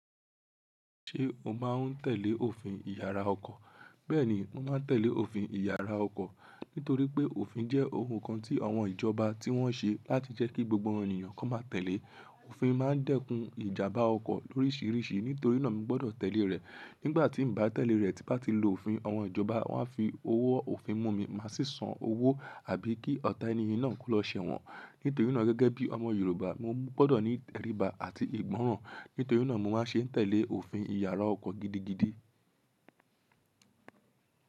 Ṣé o máa ń tẹ̀lé òfin ìyára ọkọ̀? Bẹ́ẹ̀ni, mo máa ń tẹ̀lé òfin ìyára ọkọ̀. Nítorí pé òfin jẹ́ ohun kan tí àwọn ìjọba tí wọ́n ṣe láti jẹ́ kí gbogbo ènìyàn kó máa tẹ̀lé. Òfin máa ń dẹ́kun ìjàmbá ọkọ̀ lórísìíríṣìí. Nítorí náà mi gbọ́dọ̀ tẹ̀lé rẹ̀. Nígbà tí n bá tẹ̀lé rẹ̀, tí n bá ti lo òfin, àwọn ìjọba wọ́n a fi owó òfin mú mi, màá sì san owó àbí kí ọ̀tá ènìyàn náà kó lọ ṣẹ̀ wọ́n. Nítorí náà gẹ́gẹ́ bí ọmọ Yorùbá, mo gbọ́dọ̀ ní ìtẹríba àti ìgbọ́ràn. Nítorí náà mo máa ń ṣe tẹ̀lé òfin ìyára ọkọ̀ gidigidi.